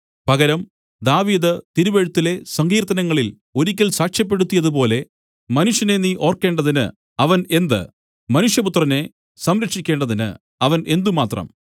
പകരം ദാവീദ് തിരുവെഴുത്തിലെ സങ്കീര്‍ത്തനങ്ങളില്‍ ഒരിക്കൽ സാക്ഷ്യപ്പെടുത്തിയത് പോലെ മനുഷ്യനെ നീ ഓർക്കേണ്ടതിന് അവൻ എന്ത് മനുഷ്യപുത്രനെ സംരക്ഷിക്കേണ്ടതിന് അവൻ എന്തുമാത്രം